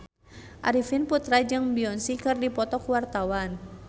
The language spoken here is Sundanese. Arifin Putra jeung Beyonce keur dipoto ku wartawan